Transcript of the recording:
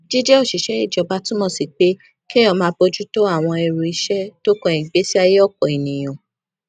jíjé òṣìṣẹ ìjọba túmọ sí pé kéèyàn máa bójú tó àwọn ẹrù iṣé tó kan ìgbésí ayé òpò èèyàn